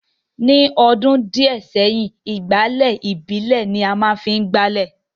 ní ọdún díẹ̀ sẹ́yìn, ìgbálẹ̀ ìbílè ni a má ń fi gbá ilẹ̀